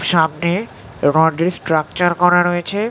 সামনে-এ rod -এর structure করা রয়েছে।